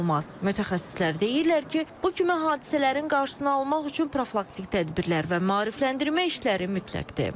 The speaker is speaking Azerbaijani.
Mütəxəssislər deyirlər ki, bu kimi hadisələrin qarşısını almaq üçün profilaktik tədbirlər və maarifləndirmə işləri mütləqdir.